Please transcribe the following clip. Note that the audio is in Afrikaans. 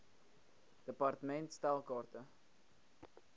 department stel kaarte